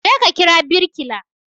Je ka kira birkila